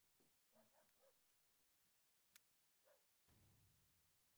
Waa maxay calaamadaha iyo astaamaha Carnega oo adag ah?